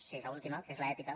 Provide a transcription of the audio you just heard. sí l’última que és l’ètica